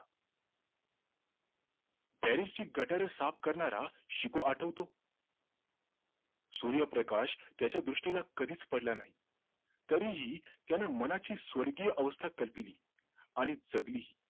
ची गटारं साफ करणारा शिखु आठवतो सूर्यप्रकाश त्याच्या दृष्टीला कधीच पडला नाही तरीही त्याने मनाची स्वर्गीय अवस्था कल्पिली आणि जगालीही